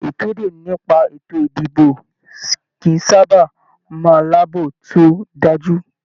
Ìkéde nípa ètò ìdìbò kìí sábà máa láàbò to dájú.